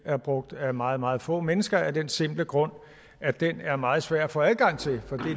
er brugt af meget meget få mennesker af den simple grund at den er meget svær at få adgang til for